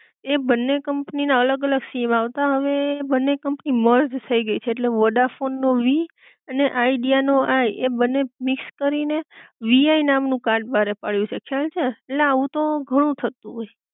એ બંને કંપની ના અલગ અલગ સીમ આવતા હવે એ બંને કંપની મર્જ થઈ ગઈ છે ઍટલે વોડાફોન નો વી અને આઇડિયા નો આઈ એ બંને મિક્સ કરી ને વીઆઈ નામ નું કાર્ડ બારે પડ્યું છે ખ્યાલ છે? ઍટલે આવું તો ઘણું થતું હોય.